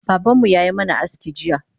Babanmu yayi mana aski jiya